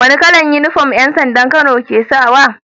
Wani kalar inufom yan sandan kano ke sawa